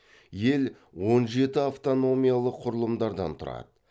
ел он жеті автономиялық құрылымдардан тұрады